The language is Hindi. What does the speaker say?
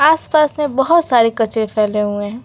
आसपास में बहुत सारे कचरे फैले हुए हैं।